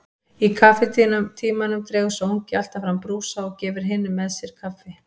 Í kaffitímanum dregur sá ungi alltaf fram brúsa og gefur hinum með sér kaffi.